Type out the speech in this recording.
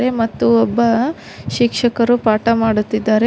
ಮತ್ತೆ ಮತ್ತು ಒಬ್ಬ ಶಿಕ್ಷಕರು ಪಾಠ ಮಾಡುತ್ತಿದ್ದಾರೆ.